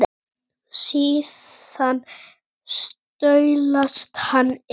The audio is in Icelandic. Síðan staulast hann inn.